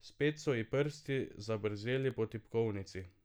Spet so ji prsti zabrzeli po tipkovnici.